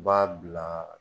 I b'a bila